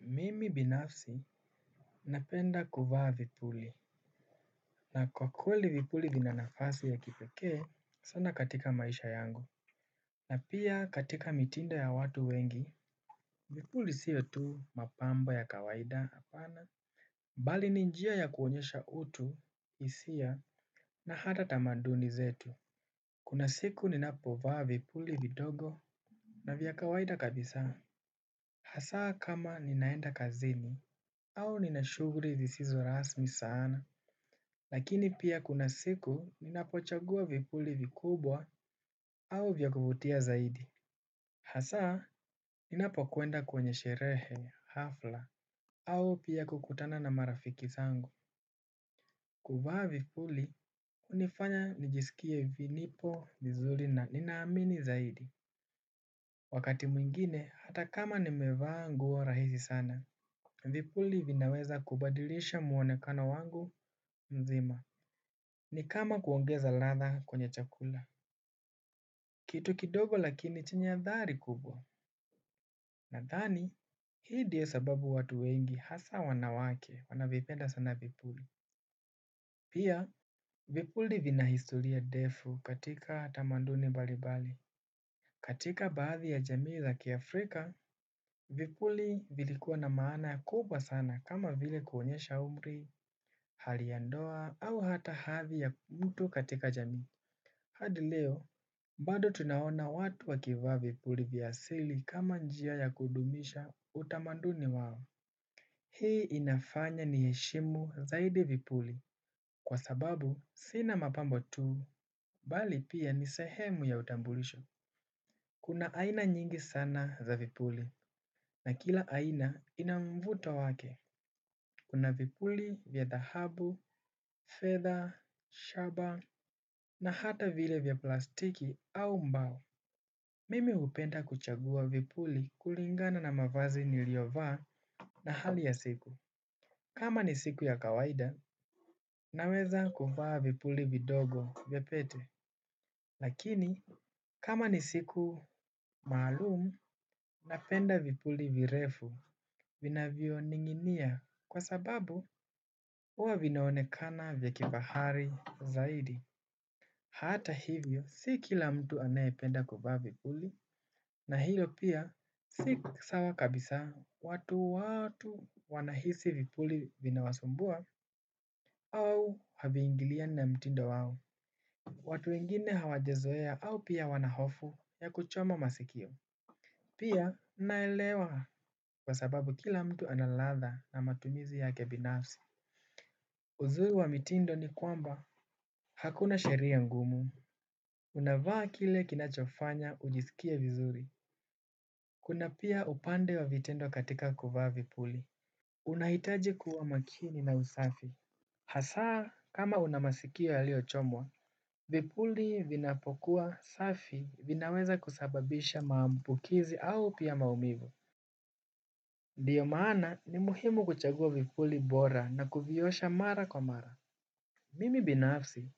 Mimi binafsi. Napenda kuvaa vipuli. Na kwa kweli vipuli vina nafasi ya kipeke sana katika maisha yangu. Na pia katika mitindo ya watu wengi vipuli sio tu mapambo ya kawaida hapana bali ni njia ya kuonyesha utu hisia na hata tamaduni zetu. Kuna siku ninapovaa vipuli vidogo. Na vya kawaida kabisa hasa kama ninaenda kazini au nina shughuli zisizo rasmi sana. Lakini pia kuna siku ninapochagua vipuli vikubwa au vya kuvutia zaidi. Hasa ninapokwenda kwenye sherehe hafla au pia kukutana na marafiki zangu. Kuvaa vipuli unifanya nijisikie vinipo vizuri na ninaamini zaidi. Wakati mwingine hata kama nimevaa nguo rahisi sana vipuli vinaweza kubadilisha mwonekano wangu mzima. Ni kama kuongeza ladha kwenye chakula. Kitu kidogo lakini chenye athari kubwa. Nadhani hii ndio sababu watu wengi hasa wanawake wanavipenda sana vipuli. Pia vipuli vina historia ndefu katika tamanduni mbalimbali. Katika baadhi ya jamii za kiafrika vipuli vilikuwa na maana kubwa sana kama vile kuonyesha umri hali ya ndoa au hata hathi ya mtu katika jamii. Hadi leo, bado tunaona watu wakivaa vipuli vya asili kama njia ya kudumisha utamanduni wao. Hii inafanya niheshimu zaidi vipuli. Kwa sababu sina mapambo tuu bali pia ni sehemu ya utambulisho. Kuna aina nyingi sana za vipuli na kila aina ina mvuto wake. Kuna vipuli vya dhahabu, fedha shaba na hata vile vya plastiki au mbao. Mimi hupenda kuchagua vipuli kulingana na mavazi niliovaa na hali ya siku. Kama ni siku ya kawaida naweza kuvaa vipuli vidogo vya pete. Lakini kama ni siku malumu napenda vipuli virefu vinavyo ning'inia kwa sababu huwa vinaonekana vya kibahari zaidi hata hivyo si kila mtu anayependa kuvaa vipuli na hilo pia si sawa kabisa watu watu wanahisi vipuli vinawasumbua au haviingiliani na mtindo wao. Watu wengine hawajezoea au pia wana hofu ya kuchoma masikio pia naelewa kwa sababu kila mtu ana ladha na matumizi yake binafsi. Uzuri wa mitindo ni kwamba hakuna sheria ngumu. Unavaa kile kinachofanya ujisikie vizuri. Kuna pia upande wa vitendo katika kuvaa vipuli. Unahitaji kuwa makini na usafi. Hasa kama una masikio yalio chomwa vipuli vinapokuwa safi vinaweza kusababisha maambukizi au pia maumivu. Ndiyo maana ni muhimu kuchagua vipuli bora na kuviosha mara kwa mara. Mimi binafsi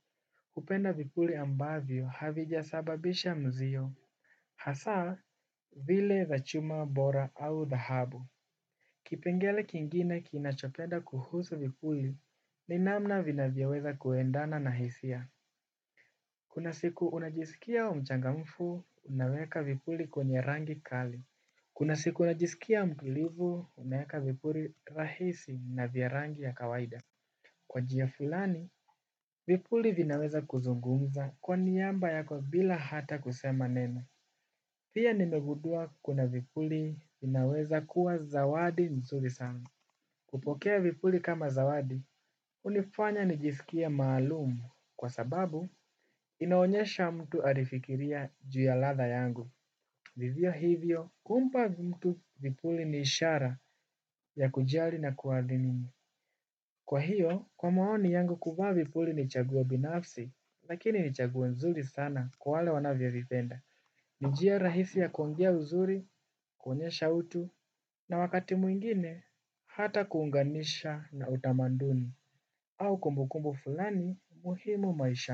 hupenda vipuli ambavyo havijasababisha mzio. Hasaa, zile za chuma bora au dhahabu. Kipengele kingine kinachopenda kuhusu vipuli ni namna vina vyoweza kuendana na hisia. Kuna siku unajisikia mchangamfu, unaweka vipuli kwenye rangi kali. Kuna siku unajisikia mtulivu, unaweka vipuli rahisi na vya rangi ya kawaida. Kwa njia fulani, vipuli vinaweza kuzungumza kwa niaba yako bila hata kusema neno pia nimegundua kuna vipuli vinaweza kuwa zawadi nzuri sangu. Kupokea vipuli kama zawadi, hunifanya nijisikie maalumu kwa sababu inaonyesha mtu alifikiria juu ya ladha yangu. Vivyo hivyo, kumpa mtu vipuli ni ishara ya kujali na kuadhini. Kwa hiyo, kwa maoni yangu kuvaa vipuli ni chaguo binafsi, lakini ni chaguo nzuri sana kwa wale wanavyovipenda. Ni njia rahisi ya kuongea uzuri, kuonyesha utu. Na wakati mwingine, hata kuunganisha na utamaduni. Au kumbukumbu fulani, muhimu maishani.